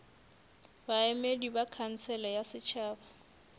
baemedi ba khansele ya setšhaba